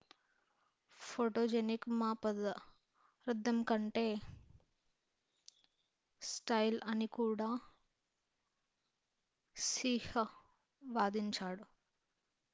photogenic మా పదార్ధం కంటే స్టైల్ అని కూడా హ్సీహ్ వాదించాడు